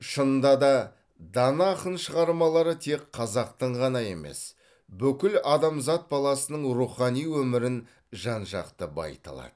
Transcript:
шынында да дана ақын шығармалары тек қазақтың ғана емес бүкіл адамзат баласының рухани өмірін жан жақты байыта алады